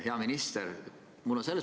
Hea minister!